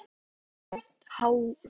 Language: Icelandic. Raggi, lækkaðu í hátalaranum.